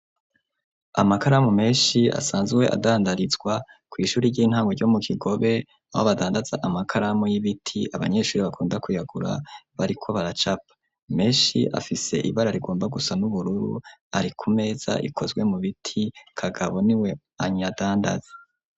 Amakaramu meshi asanzwe adandarizwa ku ishuri ry'intango ryo mu kigobe aho badandatza amakaramu y'ibiti abanyeshuri bakunda kuyagura bariko baracapa meshi afise ibara rigomba gusa n'ubururu, ari ku meza ikozwe mu biti kagabo niwe anyadandaze.